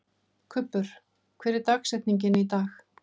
Kubbur, hver er dagsetningin í dag?